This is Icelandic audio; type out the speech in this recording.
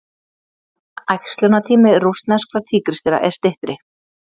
æxlunartími rússneskra tígrisdýra er styttri